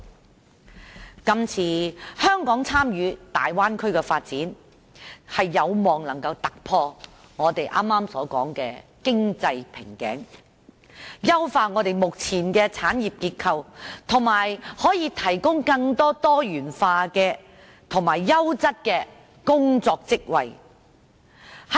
香港這次參與大灣區的發展，有望能夠突破我們剛才所說的經濟瓶頸，優化目前的產業結構，以及提供更多多元化及優質的工作職位。